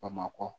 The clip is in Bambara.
Bamakɔ